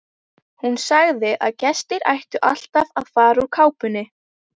Hún sagði að gestir ættu alltaf að fara úr kápunni.